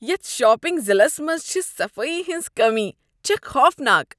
یتھ شاپنگ ضلعس منٛز چھ صفٲیی ہنٛز کٔمی چھےٚ خوفناک۔